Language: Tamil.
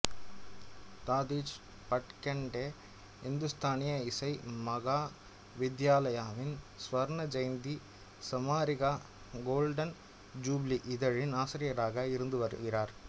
தாதீச் பட்கண்டே இந்துஸ்தானி இசை மகாவித்யாலாவின் ஸ்வர்ன் ஜெயந்தி சாமாரிகா கோல்டன் ஜூபிலி இதழின் ஆசிரியராக இருந்து வருகிறார்